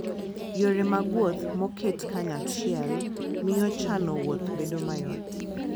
Yore mag wuoth moket kanyachiel miyo chano wuoth bedo mayot.